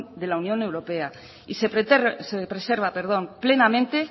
de la unión europea y se preserva plenamente